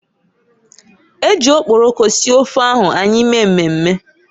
Eji okporoko sie ofe ahu anyị mee mmemme.